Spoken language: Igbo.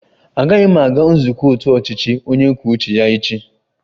Agaghị m aga nzukọ otu ọchịchị onye kwuo uche ya echi